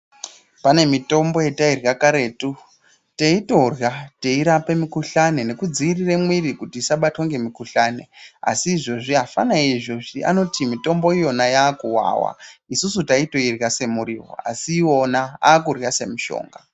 Pane mitombo yatairya karetu teitorya nekudzivirira mwiri kuti isabatwe ngemikuhlani asi izvezvi afana eizvezvi anoti mitombo iyoyo yaakuwawa isusu taitoirya semiriwo asi iwona akurya semishonga.